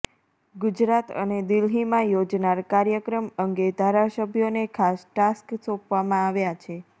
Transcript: ગુજરાત અને દિલ્હીમાં યોજનાર કાર્યક્રમ અંગે ધારાસભ્યોને ખાસ ટાસ્ક સોપવામા આવ્યાં છે